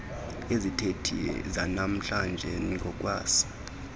izithethi zanamhlanje ngokwesi